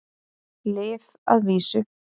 Lyf að vísu.